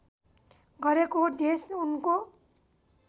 गरेको देश उनको